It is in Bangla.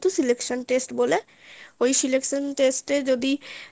selection test বলে ওই selection test এ যদি